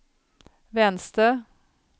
vänster